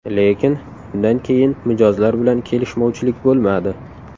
Lekin undan keyin mijozlar bilan kelishmovchilik bo‘lmadi.